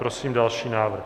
Prosím další návrh.